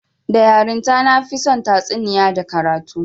Da yarinta, na fi son tatsuniya da karatu